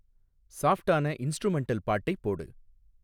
சாஃப்டான இன்ஸ்ட்ரூமென்டல் பாட்டை போடு